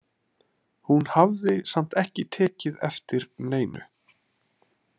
Hún hafði samt ekki tekið eftir neinu.